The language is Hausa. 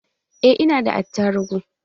Eh, ina da attarugu